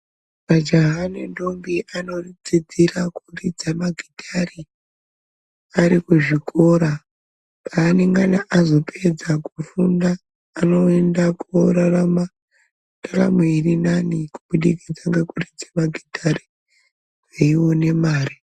Majaha nendombi vanodzidzira kuridza magitare arikuzvikora, paanenge azopedza kufunda anoenda kunorarama ntaramo irinani kuburikidza nekuridza magitare eiwane mari.